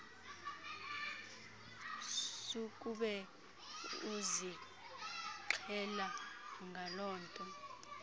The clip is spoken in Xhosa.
sukube uzixhela ngalonto